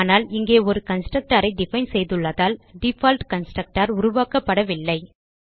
ஆனால் இங்கே ஒரு கன்ஸ்ட்ரக்டர் ஐ டிஃபைன் செய்துள்ளதால் டிஃபால்ட் கன்ஸ்ட்ரக்டர் உருவாக்கப்படவில்லை